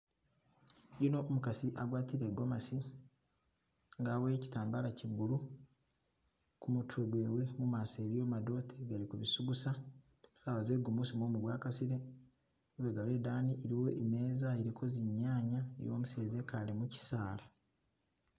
Yuno umukasi agwatile i'gomasi nga waboyele kitambala che blue kumutwe gwewe, mumaso iliyo madote gali ku bi sugusa sawa ze gumusi mumu gwa gasile lubega lwedani iliyo imeza iliko zi'nyanya iliwo umuseza ekale mukisala